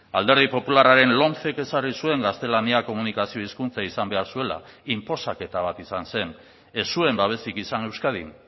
alderdi popularraren lomcek ezarri zuen gaztelania komunikazio hizkuntza izan behar zuela inposaketa bat izan zen ez zuen babesik izan euskadin